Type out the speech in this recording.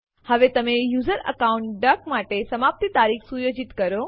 હવે તમે યુઝર અકાઉન્ટduck માટે સમાપ્તિ તારીખ સુયોજિત કરો